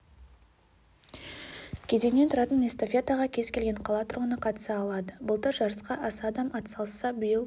кезеңнен тұратын эстафетаға кез келген қала тұрғыны қатыса алады былтыр жарысқа аса адам атсалысса биыл